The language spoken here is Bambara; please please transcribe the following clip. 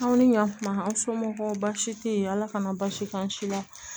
Anw ni ɲankuma an somɔgɔw baasi tɛ yen ala kana basi k'an si la